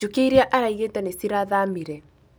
Njũkĩ iria araigĩte nĩcirathamire